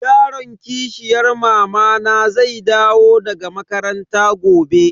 Yaron kishiyan mamana zai dawo daga makaranta gobe.